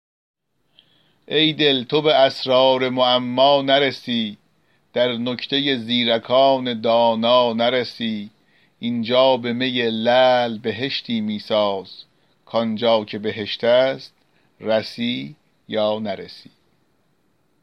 ای دل تو به اسرار معما نرسی در نکته زیرکان دانا نرسی اینجا به می لعل بهشتی می ساز کانجا که بهشت است رسی یا نرسی